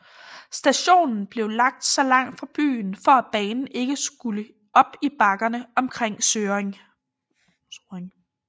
Stationen blev lagt så langt fra byen for at banen ikke skulle op i bakkerne omkring Sorring